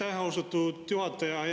Aitäh, austatud juhataja!